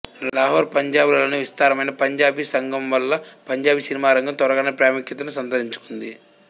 లాహోర్ పంజాబ్ లలోని విస్తారమైన పంజాబీ సంఘం వల్ల పంజాబీ సినిమా రంగం త్వరగానే ప్రాముఖ్యతను సంతరించుకుంది